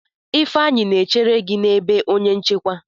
Ifeanyi na-echere gi na ebe onye nchekwa.